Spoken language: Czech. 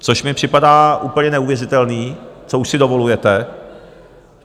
Což mi připadá úplně neuvěřitelné, co už si dovolujete.